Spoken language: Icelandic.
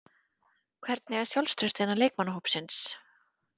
Hvernig er sjálfstraustið innan leikmannahópsins?